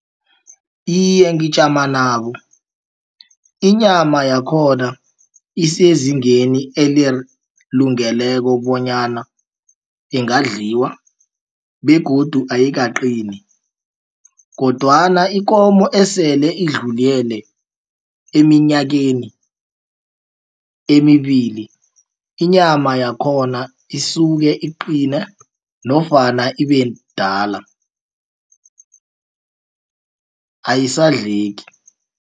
Iye, ngijama nabo inyama yakhona isezingeni elilungeleko bonyana ingadliwa begodu ayikaqini kodwana ikomo esele idlulele eminyakeni emibili inyama yakhona isuke iqina nofana ibedala ayisadleki.